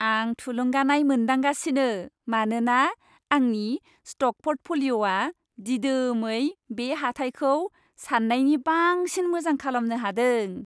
आं थुलुंगानाय मोनदांगासिनो मानोना आंनि स्ट'क प'र्टफ'लिय'आ दिदोमै बे हाथाइखौ साननायनि बांसिन मोजां खालामनो हादों।